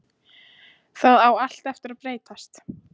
Það á allt eftir að breytast!